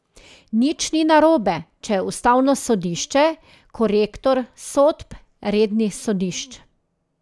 Nič ni narobe, če je ustavno sodišče korektor sodb rednih sodišč.